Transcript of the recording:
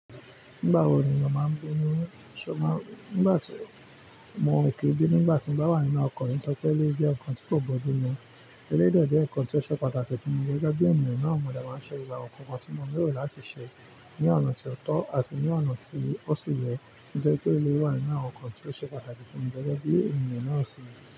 Nígbà wo ènìyàn máa ń bu inú? Ṣo máa ń, nígbà tí mo ki n bínu nígbà tí mo bá wà nínú ọkọ̀ mi tọ́ripe eleyii jẹ́ nǹkan tí kò bójú mu. Eleyii dẹ jẹ́ ǹkan tí ó ṣe pàtàkì fún mi gẹ́gẹ́ bí ènìyàn náà. Mo dẹ máa ṣe gbogbo awọn nkàn kan tí mo lè rò láti ṣe ní ọ̀nà tí ó tọ́ àti ní ọ̀nà tí ó sì yẹ nígbà tí ó lè wà nínú àwọn ǹkan tí ó ṣe pàtàkì fún mi gẹ́gẹ́ bí ènìyàn náà ṣe.